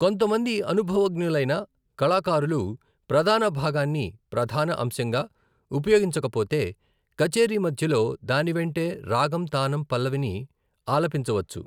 కొంతమంది అనుభవజ్ఞులైన కళాకారులు ప్రధాన భాగాన్ని ప్రధాన అంశంగా ఉపయోగించకపోతే, కచేరీ మధ్యలో దాని వెంటే రాగం తానం పల్లవిని ఆలపించవచ్చు.